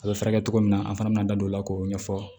A bɛ furakɛ cogo min na an fana b'an da don o la k'o ɲɛfɔ